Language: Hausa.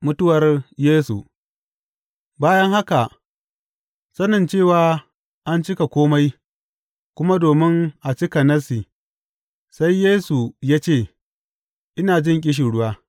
Mutuwar Yesu Bayan haka, sanin cewa an cika kome, kuma domin a cika Nassi, sai Yesu ya ce, Ina jin ƙishirwa.